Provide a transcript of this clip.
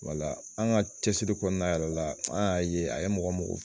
an ka cɛsiri kɔnɔna yɛrɛ la an y'a ye a ye mɔgɔ